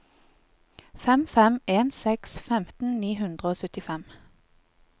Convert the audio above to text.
fem fem en seks femten ni hundre og syttifem